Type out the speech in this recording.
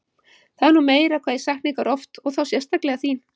Það er nú meira hvað ég sakna ykkar oft og þá sérstaklega þín